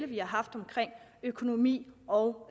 vi har haft om økonomi og